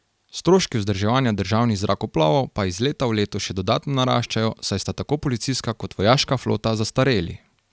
Stroški vzdrževanja državnih zrakoplovov pa iz leta v leto še dodatno naraščajo, saj sta tako policijska kot vojaška flota zastareli.